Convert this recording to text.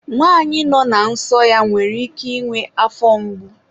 nwanyị nọ na nsọ ya nwere ike ịnwe afọ mgbu.